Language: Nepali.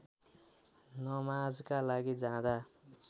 नमाजका लागि जाँदा